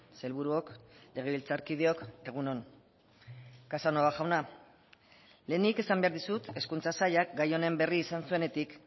sailburuok legebiltzarkideok egun on casanova jauna lehenik esan behar dizut hezkuntza sailak gai honen berri izan zuenetik